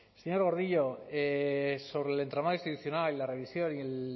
señor gordillo sobre el entramado institucional y la revisión y el